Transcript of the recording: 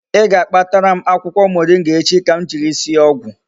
I ga-akpatara m akwukwo moringa echi ka m jiri sie ogwu